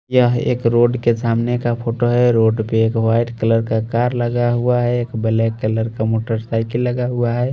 यह एक रोड के सामने का फोटो है। रोड पे एक व्हाइट कलर का कार लगा हुआ है। एक ब्लैक कलर का मोटरसाइकिल लगा हुआ है।